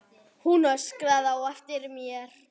Hann öskraði á eftir mér.